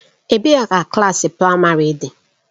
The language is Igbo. Ebee ka klaasị praịmarị dị?